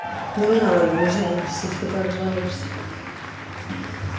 не надо не жалуешься ещё как жалуешься